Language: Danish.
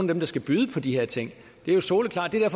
dem der skal byde på de her ting det er jo soleklart det er